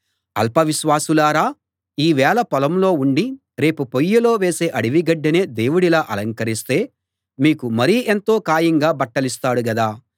అల్ప విశ్వాసులారా ఈ వేళ పొలంలో ఉండి రేపు పొయ్యిలో వేసే అడవి గడ్డినే దేవుడిలా అలంకరిస్తే మీకు మరి ఎంతో ఖాయంగా బట్టలిస్తాడు గదా